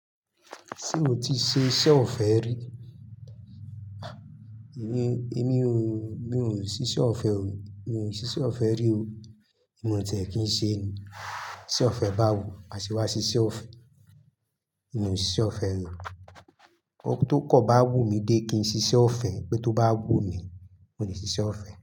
Ti mo ti ṣe iṣẹ́ ọ̀fẹ́ rí? Èmi, èmi o, mi ò ṣiṣẹ́ ọ̀fẹ́ o, mi ò ṣiṣẹ́ ọ̀fẹ́ rí o. Mio tẹ̀ kí n ṣe ni, iṣẹ́ ọ̀fẹ́ báwo? Mase wá ṣe iṣẹ́ ọ̀fẹ́. Mi ò ṣiṣẹ́ ọ̀fẹ́ ri o. Ó tó kọ̀ bá wù mí dé kí n ṣiṣẹ́ ọ̀fẹ́, pé tó bá wù mí, mo lè ṣiṣẹ́ ọ̀fẹ́